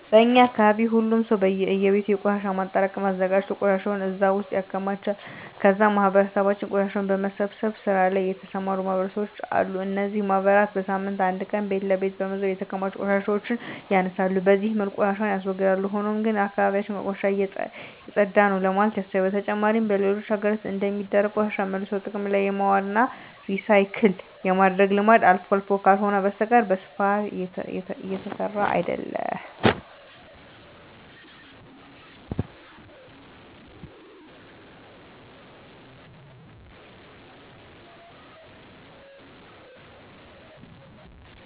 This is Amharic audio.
በእኛ አካባቢ ሁሉም ሰው በእየቤቱ የቆሻሻ ማጠራቀሚያ አዘጋጅቶ ቆሻሻውን እዛ ውስጥ ያከማቻል ከዛም በማህበረሰባችን ቆሻሻን በመሰብሰብ ስራ ላይ የተሰማሩ ማህበራት አሉ። እነዚህ ማህበራት በሳምንት አንድ ቀን ቤት ለቤት በመዞር የተከማቹ ቆሻሻዎችን ያነሳሉ። በዚህ መልኩ ቆሻሻን ያስወግዳል። ሆኖም ግን አካባቢ ያችን ከቆሻሻ የፀዳ ነው ለማለት ያስቸግራል። በተጨማሪም በሌሎች ሀገራት እንደሚደረገው ቆሻሻን መልሶ ጥቅም ላይ የማዋል ወይም ሪሳይክል የማድረግ ልምድ አልፎ አልፎ ካልሆነ በስተቀረ በስፋት እየተሰራበት አይደለም።